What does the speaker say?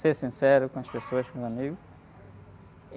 Ser sincero com as pessoas, com os amigos.